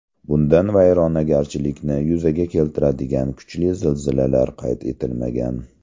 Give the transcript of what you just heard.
Bundan vayronagarchilikni yuzaga keltiradigan kuchli zilzilalar qayd etilmagan.